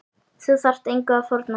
Þú þarft engu að fórna.